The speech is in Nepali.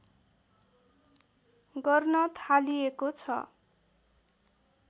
गर्न थालिएको छ